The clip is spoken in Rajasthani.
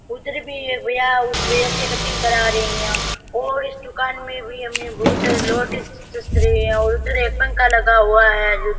उधर भी एक भैया उस भैय्या से कटिंग करा रे है और इस दुकान में भी हमें बहुत सारे जँच रहे है और उधर भी एक पंखा लगा हुआ है।